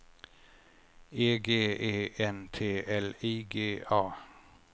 E G E N T L I G A